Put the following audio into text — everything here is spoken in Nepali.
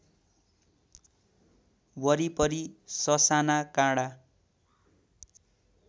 वरिपरि ससाना काँडा